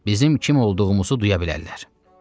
Bizim kim olduğumuzu duya bilərlər.